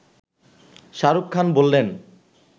শাহরুখ খান বললেন